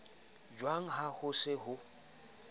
jwang ha ho se ho